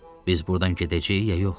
Biz burdan gedəcəyik ya yox?